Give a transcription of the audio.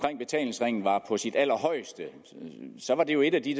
betalingsringen var på sit allerhøjeste var det jo et af de